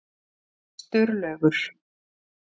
Sturlaugur